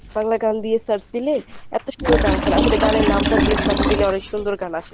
বাংলা গান দিয়ে search দিলে এত সুন্দর গান আসে না আসলে গানের নামটা দিয়ে search দিলে অনেক সুন্দর গান আসে।